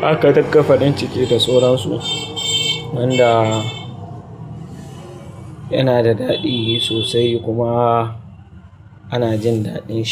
zaka dinga farin ciki da soron su. Wanda yana da daɗi sosai kuma ana jin daɗin shi.